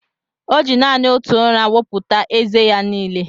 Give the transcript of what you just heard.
O ji nanị otù ụrà wọpụta ézé ya n'ile